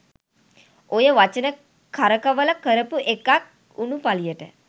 ඔය වචන කරකවල කරපු එකක් වුනු පලියට